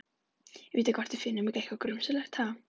Vita hvort við finnum ekki eitthvað grunsamlegt, ha?